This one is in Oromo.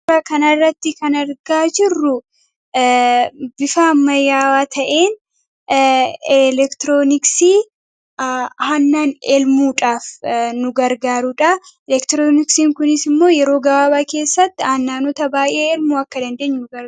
gabara kanaarratti kanargaa jirru bifaa mayaawaa ta'een elektirooniksii hannan elmuudhaaf nu gargaaruudha elektirooniksiin kunis immoo yeroo gabaabaa keessatti aannaanota baay'ee elmuu akka dandeenyu ra